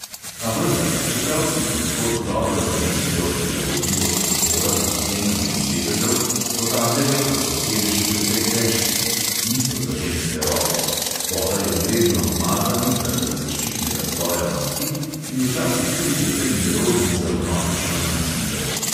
A vendar, čeprav si ponekod dobro zamislijo prilagodljivost prostora z odvzemanjem sedežev, pozabljajo, da so sedeži precej težki (niso za ženske roke), spodaj obvezno umazani zaradi zaščitnega sloja masti in včasih tudi precej nerodni za vnovično namestitev.